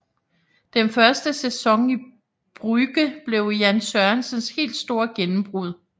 Den første sæson i Brugge blev Jan Sørensens helt store gennembrud